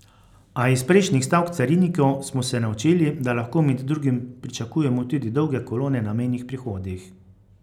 A iz prejšnjih stavk carinikov smo se naučili, da lahko med drugim pričakujemo tudi dolge kolone na mejnih prehodih.